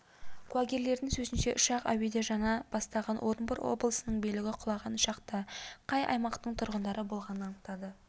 куәгерлердің сөзінше ұшақ әуеде жана бастаған орынбор облысының билігі құлаған ұшақта қай аймақтың тұрғындары болғанын анықтады